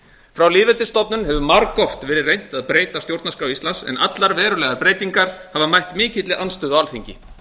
frá lýðveldisstofnun hefur margoft verið reynt að breyta stjórnarskrá íslands en allar verulegar breytingar hafa mætt mikilli andstöðu á alþingi